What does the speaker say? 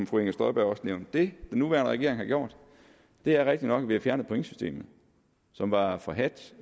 fru inger støjberg også nævnte det den nuværende regering har gjort er det rigtigt nok at vi har fjernet pointsystemet som var forhadt